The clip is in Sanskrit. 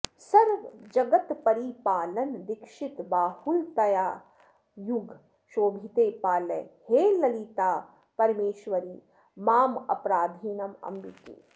सर्वजगत् परिपालन दीक्षित बाहुलतायुग शोभिते पालय हे ललितापरमेश्वरि मामपराधिनमम्बिके